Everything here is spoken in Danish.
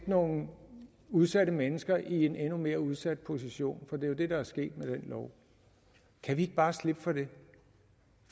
nogle udsatte mennesker i en endnu mere udsat position det er jo det der er sket med den lov kan vi ikke bare slippe for det